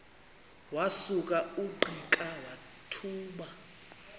wasuka ungqika wathuma